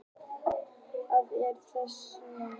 En hvað er gandreið nákvæmlega?